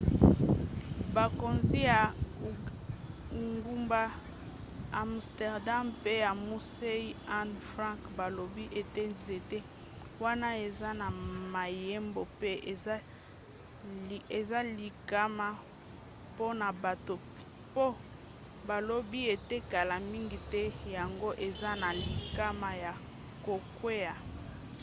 bakonzi ya engumba amsterdam pe ya musée anne frank balobi ete nzete wana eza na mayebo pe eza likama mpona bato mpo balobi ete kala mingi te yango eza na likama ya kokwea